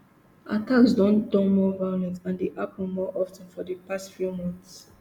attacks don turn more violent and dey happun more of ten for di past few months